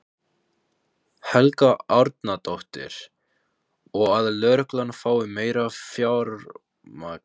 Helga Arnardóttir: Og að lögreglan fái meira fjármagn?